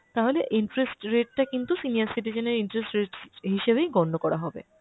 তাহলে interest rate টা কিন্তু senior citizen এর interest rate হিসেবেই গণ্য করা হবে।